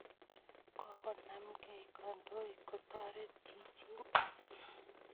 Kokonemkei kandoik kotoret chichin